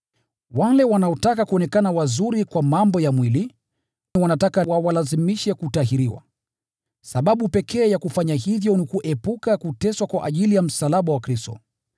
Wale wanaotaka kuonekana wazuri kwa mambo ya mwili wanataka wawalazimishe kutahiriwa. Sababu pekee ya kufanya hivyo ni kuepuka kuteswa kwa ajili ya msalaba wa Kristo.